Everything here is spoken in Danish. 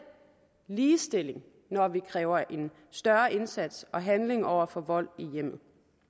ligestilling når vi kræver en større indsats og handling over for vold i hjemmet